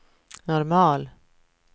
normal